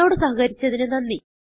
ഞങ്ങളോട് സഹകരിച്ചതിന് നന്ദി